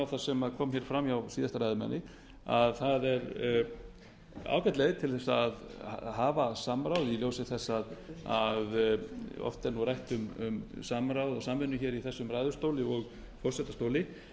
það sem kom fram hjá síðasta ræðumanni að það er ágæt leið að kalla saman þingflokksformenn til að hafa samráð í ljósi þess að oft er rætt um samráð og samvinnu í þessum ræðustóli og forsetastóli